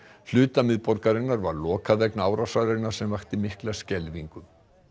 hluta miðborgarinnar var lokað vegna árásarinnar sem vakti mikla skelfingu